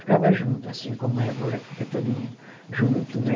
Ficava junto, assim como é agora que fica todo mundo junto, né?